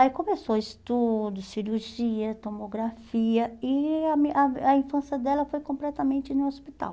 Aí começou estudo, cirurgia, tomografia e a a infância dela foi completamente no hospital.